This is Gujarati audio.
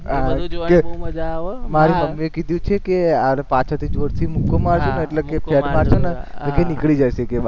ઈ જોવાનું કેવું મજા આવે હો મારી માએ કીધું છે કે પાછળથી જોરથી મુક્કો મારશું ને એટલે પછી નીકળી જશે કે